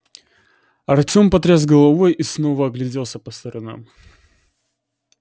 артём потряс головой и снова огляделся по сторонам